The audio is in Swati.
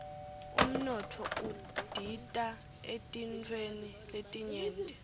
umnotfo udita eetintfweni letinyenti